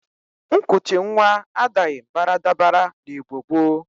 Nkụchị nwa adaghi baradabara n'Igbo gboo.